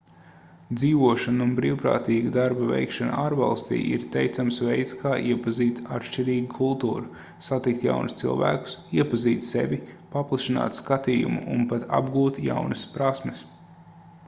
dzīvošana un brīvprātīgā darba veikšana ārvalstī ir teicams veids kā iepazīt atšķirīgu kultūru satikt jaunus cilvēkus iepazīt sevi paplašināt skatījumu un pat apgūt jaunas prasmes